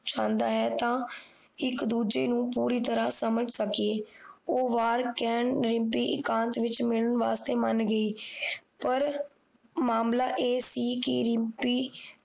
ਚਾਹੁੰਦਾ ਹੈ ਤਾਂ ਇੱਕ ਦੂਜੇ ਨੂੰ ਪੁੱਰੀ ਤਰਾਂ ਸਮਝ ਸਕੀਏ ਉਹ ਵਾਰ ਕਹਿਣ ਰਿਮਪੀ ਇਕਾਂਤ ਵਿੱਚ ਮਿਲਣ ਵਾਸਤੇ ਮਾਨ ਗਈ ਪਰ ਮਾਮਲਾ ਇਹ ਸੀ ਕਿ ਰਿਮਪੀ